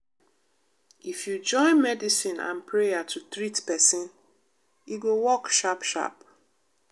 if you join medicine and prayer to treat pesin e go work sharp sharp.